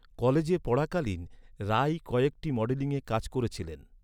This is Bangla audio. কলেজে পড়াকালীন, রাই কয়েকটি মডেলিংয়ের কাজ করেছিলেন।